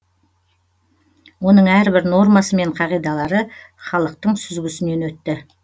оның әрбір нормасы мен қағидалары халықтың сүзгісінен өтті